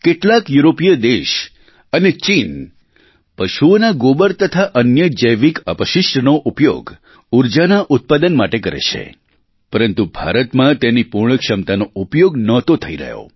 કેટલાક યુરોપીય દેશ અને ચીન પશુઓના ગોબર તથા અન્ય જૈવિક અપશિષ્ટનો ઉપયોગ ઊર્જાના ઉત્પાદન માટે કરે છે પરંતુ ભારતમાં તેની પૂર્ણ ક્ષમતાનો ઉપયોગ નહોતો થઈ રહ્યો